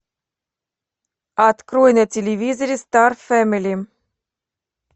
открой на телевизоре стар фэмили